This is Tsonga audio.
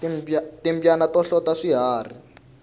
timbyana ta hlota swiharhi